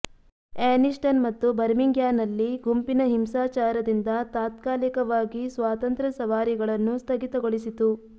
Anniston ಮತ್ತು ಬರ್ಮಿಂಗ್ಹ್ಯಾಂನಲ್ಲಿ ಗುಂಪಿನ ಹಿಂಸಾಚಾರದಿಂದ ತಾತ್ಕಾಲಿಕವಾಗಿ ಸ್ವಾತಂತ್ರ್ಯ ಸವಾರಿಗಳನ್ನು ಸ್ಥಗಿತಗೊಳಿಸಿತು